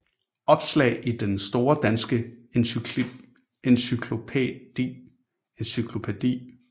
Opslag i Den Store Danske Encyklopædi